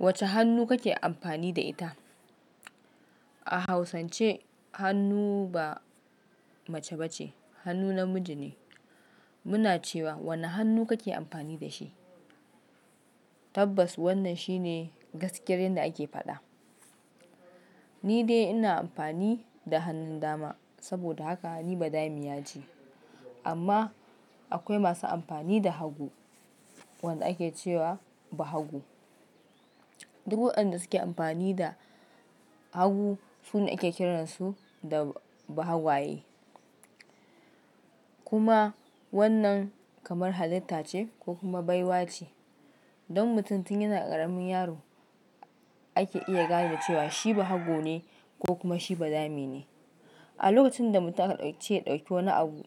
Wacce hannu kake amfani da ita? A Hausance hannu ba mace ba ce, hannu namiji ne. Muna cewa wanne hannu kake amfani da shi. Tabbas wannan shi ne gaskiyar yadda ake faɗa. Ni dai ina amfani da hannun dama saboda haka ni badami ya ji. Amma akwai masu amfani da hagu, wanda ake ce wa bahago. Duk waɗanda suke amfani da hagu su ne ake kiransu da bahagwaye. Kuma wannan kamar halitta ce ko kuma baiwa ce. Don mutum tun yana ƙaramin yaro ake iya gane cewa shi bahago ne ko kuma shi badami ne. A lokacin da mutum aka ɗauke ya ɗauki wani abu,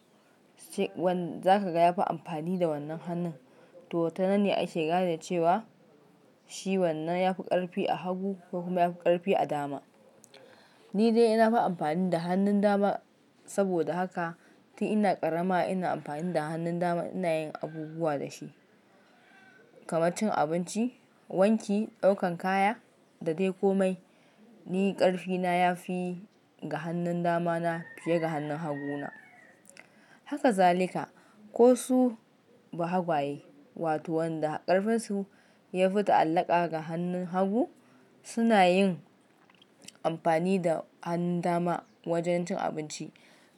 za ka ga ya fi amfani da wannan hannun, to tananne ake gane cewa shi wannan ya fi ƙarfi a hagu ko kuma ya fi ƙarfi a dama. Ni dai ina fi amfani da hannun dama saboda haka tun ina ƙarama ina amfani da hannun dama ina yin abubuwa da shi, kamar cin abinci, wanki, ɗaukan kaya da dai komai. Ni ƙarfi na ya fi ga hannun damana fiye da hannun haguna. Haka zalika, ko su bahagwaye wato waɗanda ƙarfinsu ya fi ta allaƙa da hannun hagu, su na yin amfani da hannun dama wajen cin abinci.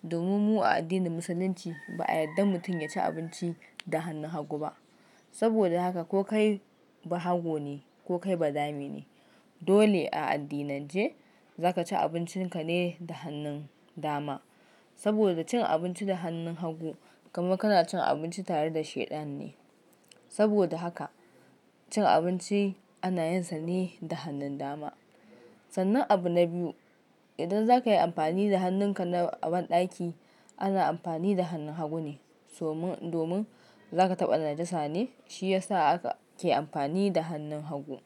Domin mu a addinin Musulunci ba a yadda mutum ya ci abinci da hannun hagu ba. Saboda haka ko kai bahago ne ko kai badame ne, dole a addinan ce za ka ci abincinka ne da hannun dama. Saboda cin abinci da hannun hagu kamar kana cin abinci tare da Shaiɗan ne. Saboda haka cin abinci ana yin sanni da hannun dama. Sannan abu na biyu, idan za ka yi amfani da hannunka na a banɗaki, ana amfani da hannun hagu ne. Domin za ka taɓa najasa ne shi ya sa aka ke amfani da hannun hagu.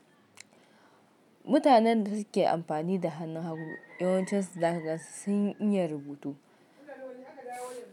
Mutanen da suke amfani da hannun hagu yawancinsu da zaka gansu sun iya rubutu.